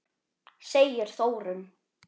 segir Þórunn.